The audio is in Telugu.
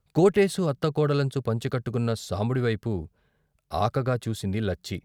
కోటేశు అత్త కోడలంచు పంచె కట్టుకున్న సాంబడి వైపు ఆకగా చూసింది లచ్చి.